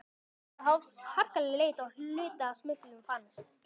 Þá hófst harkaleg leit og hluti af smyglinu fannst.